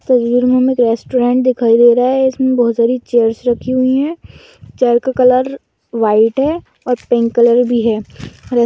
तस्बीर में हमें रेस्टोरेंट दिखाई दे रहा हैं इसमें बहुत सारी चेयर्स रखी हुई हैं। चेयर का कलर वाइट हैं। और पिंक कलर भी हैं। ह --